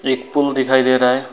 एक पुल दिखाई दे रहा है।